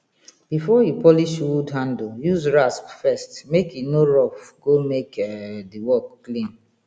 before you polish wood handle use rasp first make e no roughe go make um di work clean